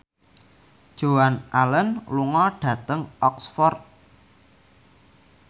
Joan Allen lunga dhateng Oxford